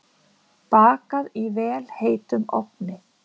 Bakað í vel heitum ofni.